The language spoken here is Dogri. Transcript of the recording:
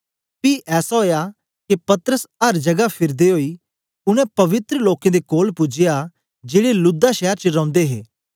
पी ऐसा ओया के पतरस अर जगह फिरदे ओई उनै पवित्र लोकें दे कोल पूजया जेड़े लुद्दा शैर च रोंदे हे